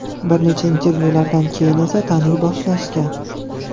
Bir necha intervyulardan keyin esa taniy boshlashgan.